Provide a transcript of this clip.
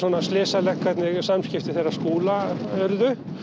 slysalegt hvernig samskipti þeirra Skúla urðu